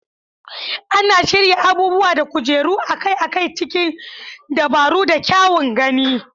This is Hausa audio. Ana shirya abubuwa da kujeru akai-akai cikin dabaru da kyan gani.